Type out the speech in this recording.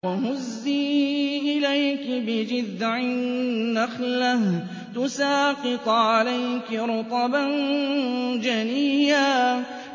وَهُزِّي إِلَيْكِ بِجِذْعِ النَّخْلَةِ تُسَاقِطْ عَلَيْكِ رُطَبًا جَنِيًّا